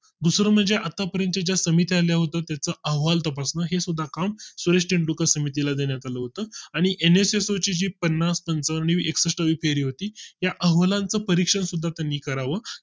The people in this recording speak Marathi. दुसरे म्हणजे आतापर्यंत ज्या समित्या ला होता त्याचा अहवाल तपासून हीसुद्धा काम सुरेश तेंडुलकर समिती ला देण्यात आलं होतं आणि नसस जी पन्नास अंकांनी एकष्ठ वी फेरी होती या अहवाला चं परीक्षण सुद्धा कमी करावा